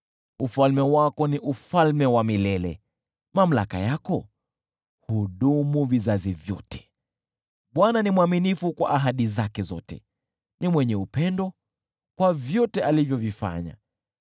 Ufalme wako ni ufalme wa milele, mamlaka yako hudumu vizazi vyote. Bwana ni mwaminifu kwa ahadi zake zote na mwenye upendo kwa vyote alivyovifanya.